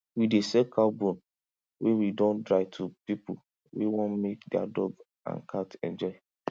we dey sell cow bone wey we don dry to pipu wey wan make their dog and cat enjoy